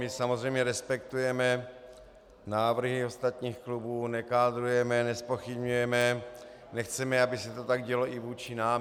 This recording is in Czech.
My samozřejmě respektujeme návrhy ostatních klubů, nekádrujeme, nezpochybňujeme, nechceme, aby se to tak dělo i vůči nám.